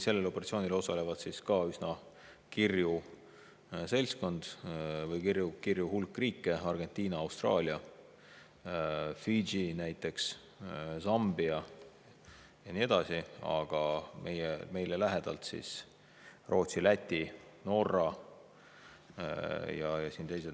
Sellel operatsioonil osaleb ka üsna kirju seltskond, kirju hulk riike: Argentina, Austraalia, Fidži, Sambia ja nii edasi, aga meie lähedalt Rootsi, Läti, Norra ja teised.